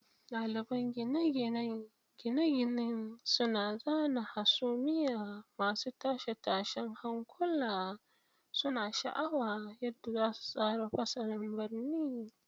Daliban gine-ginen gine-gine suna zana hasumiya masu tashe-tashen hankula, suna sha'awar yadda za su tsara fasalin birni.